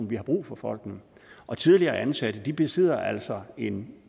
vi har brug for folkene og tidligere ansatte besidder altså en